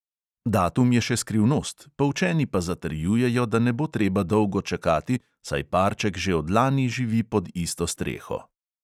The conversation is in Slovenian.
Datum je še skrivnost, poučeni pa zatrjujejo, da ne bo treba dolgo čakati, saj parček že od lani živi pod isto streho.